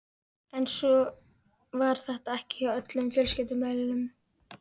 En svo var ekki hjá öllum fjölskyldumeðlimum.